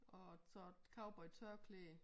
Og så et cowboy tørklæde